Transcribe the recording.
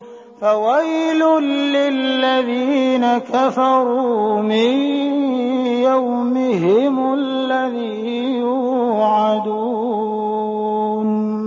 فَوَيْلٌ لِّلَّذِينَ كَفَرُوا مِن يَوْمِهِمُ الَّذِي يُوعَدُونَ